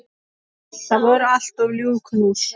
Það voru alltaf ljúf knús.